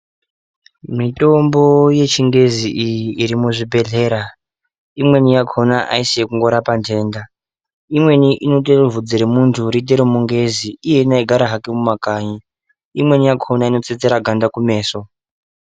Mitombo yechingezi iyi iri muzvibhedhleya imweni yakona aisi yekungirapa ntenda imweni inoite kuti bvudzi remuntu riite remungezi iyena eigara hake mumakanyi imweni yakona inotsetsera ganda kumeso.